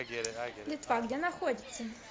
литва где находится